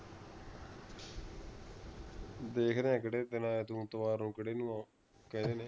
ਦੇਖਦੇ ਆਂ ਕੇਹੜੇ ਦਿਨ ਆਯਾ ਤੂੰ ਐਤਵਾਰ ਉਤਵਾਰ ਨੂੰ ਕਹਿੰਦੇ ਨੇ